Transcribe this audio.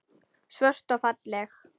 Svört og falleg.